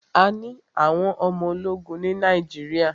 A ní àwọn ọmọ ológun ní Nàíjíríà.